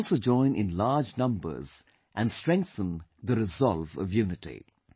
You should also join in large numbers and strengthen the resolve of unity